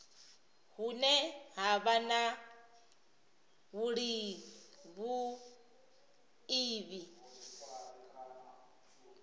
hune ha vha na vhuiivhi